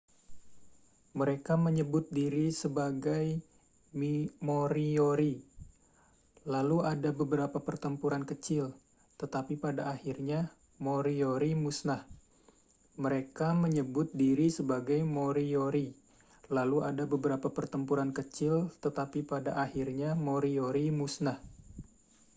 mereka menyebut diri sebagai moriori lalu ada beberapa pertempuran kecil tetapi pada akhirnya moriori musnah